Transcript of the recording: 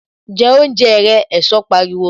Jẹ oúnjẹ rẹ! Ẹ̀sọ́ pariwo